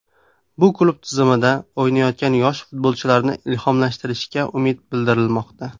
Bu klub tizimida o‘ynayotgan yosh futbolchilarni ilhomlantirishiga umid bildirilmoqda.